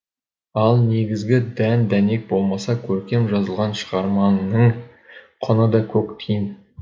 ал негізгі дән дәнек болмаса көркем жазылған шығармаңның құны да көк тиын